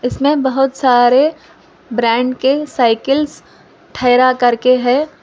इसमें बहुत सारे ब्रांड के साइकिलस ठहरा करके है।